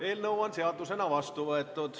Eelnõu on seadusena vastu võetud.